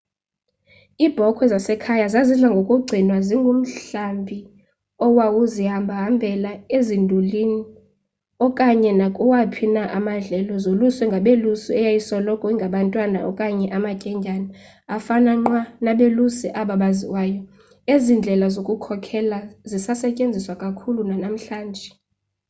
iibhokhwe zasekhaya zazidla ngokugcinwa zingumhlambi owawuzihambahambela ezindulini okanye nakuwaphi na amadlelo zoluswe ngabelusi eyayisoloko ingabantwana okanye amatyendyana afana nqwa nabelusi aba baziwayo ezindlela zokukhokhela zisasetyetziswa kakhulu nanamhlanje